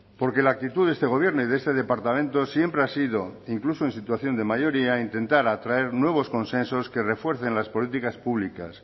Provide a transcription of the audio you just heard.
porque la actitud de este gobierno y de este departamento siempre ha sido incluso en situación de mayoría intentar atraer nuevos consensos que refuercen las políticas públicas